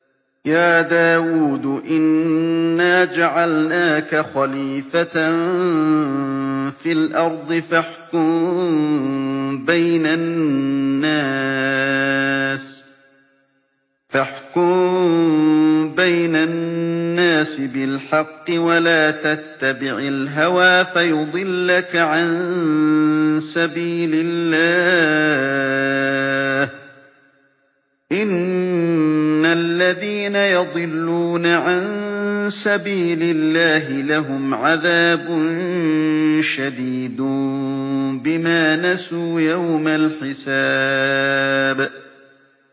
يَا دَاوُودُ إِنَّا جَعَلْنَاكَ خَلِيفَةً فِي الْأَرْضِ فَاحْكُم بَيْنَ النَّاسِ بِالْحَقِّ وَلَا تَتَّبِعِ الْهَوَىٰ فَيُضِلَّكَ عَن سَبِيلِ اللَّهِ ۚ إِنَّ الَّذِينَ يَضِلُّونَ عَن سَبِيلِ اللَّهِ لَهُمْ عَذَابٌ شَدِيدٌ بِمَا نَسُوا يَوْمَ الْحِسَابِ